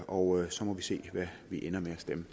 og så må vi se hvad vi ender